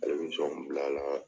Ale bi jɔnw bila la.